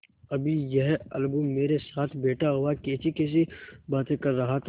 अभी यह अलगू मेरे साथ बैठा हुआ कैसीकैसी बातें कर रहा था